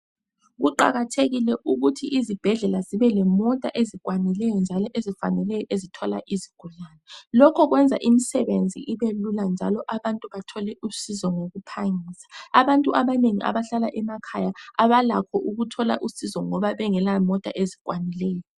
Kuqakathekile ukuthi izibhedlela zibelemota ezikwanileyo njalo ezifaneleyo ezithwala izigulane. Lokho kwenza imisebenzi ibelula njalo abantu bathole usizo ngokuphangisa. Abantu abanengi abahlala emakhaya abalakho ukuthola usizo ngoba bengelamota ezikwanileyo.